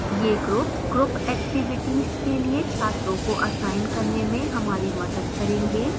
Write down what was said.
ये groups group activities के लिए छात्रों को असाइन करने में हमारी मदद करेंगे